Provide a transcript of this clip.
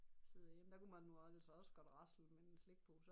Sidde derhjemme der kunne man nu altså også godt rasle med en slikpose